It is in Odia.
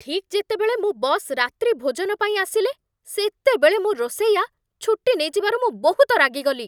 ଠିକ୍ ଯେତେବେଳେ ମୋ ବସ୍ ରାତ୍ରିଭୋଜନ ପାଇଁ ଆସିଲେ, ସେତେବେଳେ ମୋ ରୋଷେଇଆ ଛୁଟି ନେଇଯିବାରୁ ମୁଁ ବହୁତ ରାଗିଗଲି।